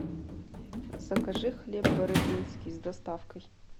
закажи хлеб бородинский с доставкой